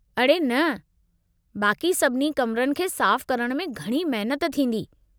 अड़े न, बाक़ी सभिनी कमरनि खे साफ़ करण में घणी महनत थींदी।